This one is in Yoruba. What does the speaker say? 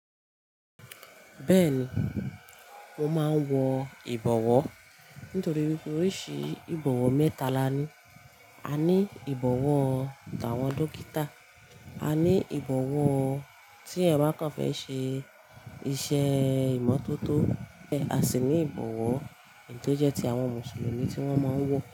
Bẹ́ẹ̀ni, mo máa ń wọ ìbọ̀wọ̀ nítorí pé oríṣi ìbọ̀wọ̀ mẹ́ta la ní. A ní ìbọ̀wọ̀ táwọn dókítà, a ní ìbọ̀wọ̀ tí eeyan ba kan fẹ́ ṣe iṣẹ́ ìmọ́tótó, a sì ní ìbọ̀wọ̀ tó jẹ́ ti àwọn Mùsùlùmí tí wọ́n máa ń wọ̀